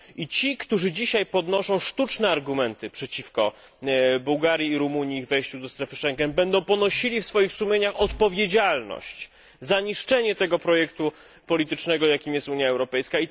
Ci, którzy dzisiaj podnoszą sztuczne argumenty przeciwko wejściu Bułgarii i Rumunii do strefy Szengen, będą ponosili w swoich sumieniach odpowiedzialność za niszczenie projektu politycznego, jakim jest Unia Europejska.